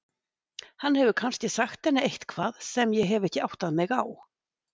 Hann hefur kannski sagt henni eitthvað sem ég hef ekki áttað mig á.